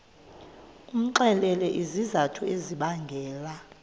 umxelele izizathu ezibangela